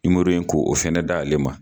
ko o fɛnɛ da' ale ma.